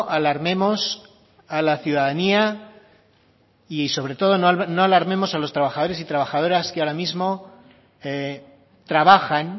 alarmemos a la ciudadanía y sobre todo no alarmemos a los trabajadores y trabajadoras que ahora mismo trabajan